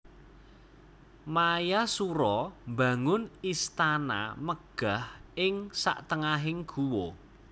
Mayasura mbangun istana megah ing satengahing guwa